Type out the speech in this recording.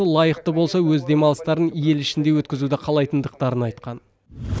лайықты болса өз демалыстарын ел ішінде өткізуді қалайтындықтарын айтқан